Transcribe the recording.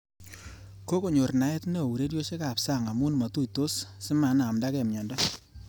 Kokonyor naet neo ureriosiekab sang amu matuitos simenamndake mnyondo